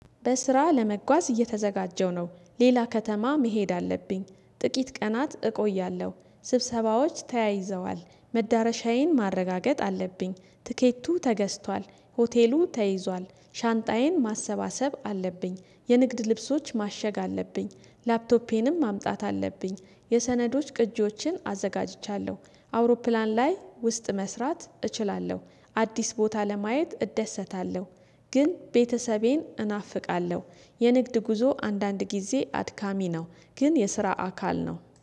በስራ ለመጓዝ እየተዘጋጀሁ ነው ሌላ ከተማ መሄድ አለብኝ ጥቂት ቀናት እቆያለሁ ስብሰባዎች ተያይዘዋል መዳረሻዬን ማረጋገጥ አለብኝ ትኬቱ ተገዝቷል ሆቴሉ ተይዟል ሻንጣዬን ማሰባሰብ አለብኝ የንግድ ልብሶች ማሸግ አለብኝ ላፕቶፔንም ማምጣት አለብኝ የሰነዶች ቅጂዎችን አዘጋጅቻለሁ አውሮፕላን ላይ ውስጥ መስራት እችላለሁ። አዲስ ቦታ ለማየት እደሰታለሁ። ግን ቤተሰቤን እናፍቃለሁ። የንግድ ጉዞ አንዳንድ ጊዜ አድካሚ ነው። ግን የስራ አካል ነው